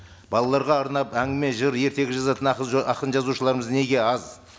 балаларға арнап әңгіме жыр ертегі жазатын ақын жазушыларымыз неге аз